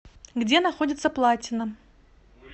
где находится платина